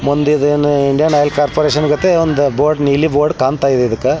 ಮುಂದಿದೆ ಈದ್ ಏನ್ ಇಂಡಿಯನ್ ಆಯಿಲ್ ಕಾರ್ಪೋರೇಶನ ಗತೆ ಒಂದ ಬೋರ್ಡ್ ನೀಲಿ ಬೋರ್ಡ್ ಕಾಂತಾ ಇದೆ ಇದಕ್ಕ.